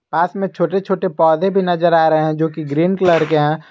पास में छोटे छोटे पौधे भी नजर आ रहे हैं जोकि ग्रीन कलर के हैं।